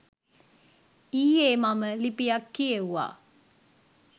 ඊයේ මම ලිපියක් කියෙව්වා.